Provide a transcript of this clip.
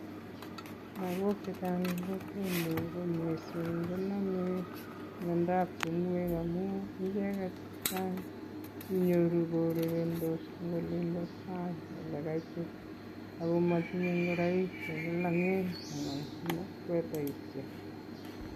Lagok chechang en kokwenyu ko mising konome miondab ting'oek, amun icheget chechang inyoru kourerendos en olinbo sang ole kaitit ago motinye ngoroik che lolong'en anan sweater